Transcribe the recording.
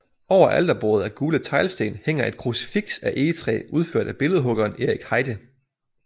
Over alterbordet af gule teglsten hænger et krucifiks af egetræ udført af billedhuggeren Erik Heide